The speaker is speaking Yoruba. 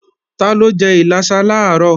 Taló jẹ́ ìlàsà làárọ̀?